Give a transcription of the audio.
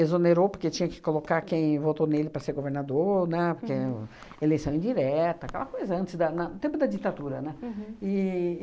exonerou porque tinha que colocar quem votou nele para ser governador, né, porque o eleição indireta, aquela coisa, antes da na do tempo da ditadura, né? Uhum. E